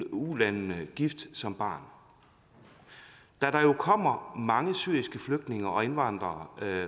ulandene gift som barn da der jo kommer mange syriske flygtninge og indvandrere